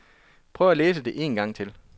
Prøv at læse det engang til.